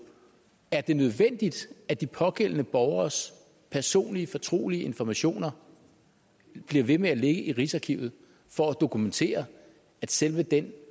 er det nødvendigt at de pågældende borgeres personlige fortrolige informationer bliver ved med at ligge i rigsarkivet for at dokumentere at selve den